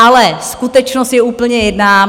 Ale skutečnost je úplně jiná.